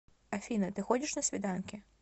афина ты ходишь на свиданки